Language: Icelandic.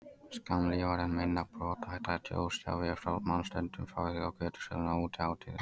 Skammlífari en minna brothætta ljósstafi má stundum fá hjá götusölum á útihátíðum.